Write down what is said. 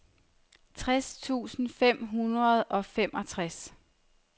tres tusind fem hundrede og femogtres